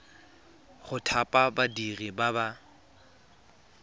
go thapa badiri ba ba